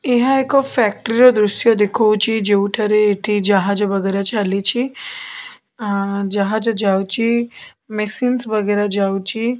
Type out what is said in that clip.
ଏହା ଏକ ଫ୍ୟାକ୍ଟ୍ରି ର ଦୃଶ୍ୟ ଦେଖଉଛି ଯେଉଁଠାରେ ଏଠି ଜାହାଜ ବଗେରା ଚାଲିଛି ଆ ଜାହାଜ ଯାଉଚି ମେସିନସ୍ ବଗେରା ଯାଉଚି।